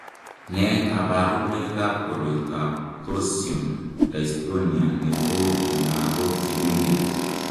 Nee kabarunoikab koroitoab Torsion dystonia netou eng' lagok chemengech?